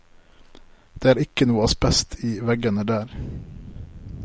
Det er ikke noe asbest i veggene der.